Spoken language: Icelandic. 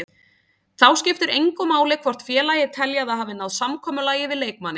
Þá skiptir engu máli hvort félagið telji að það hafi náð samkomulagi við leikmanninn.